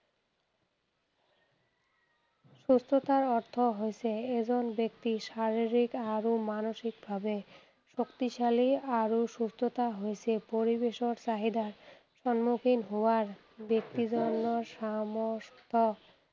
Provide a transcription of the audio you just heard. সুস্থতাৰ অৰ্থ হৈছে এজন ব্যক্তি শাৰীৰিক আৰু মানসিক ভাৱে শক্তিশালী আৰু সুস্থতা হৈছে পৰিৱেশৰ চাহিদা সন্মুখীন হোৱাৰ ব্যক্তি জনৰ সমস্ত